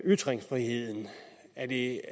ytringsfriheden er det